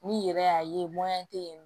N'i yɛrɛ y'a ye tɛ yen nɔ